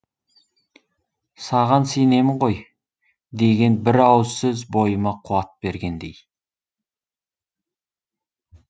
саған сенемін ғой деген бір ауыз сөз бойыма қуат бергендей